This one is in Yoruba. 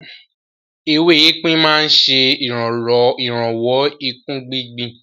Ewé epin máa ń ṣe ìrànwọ́ ìkún gbigbi.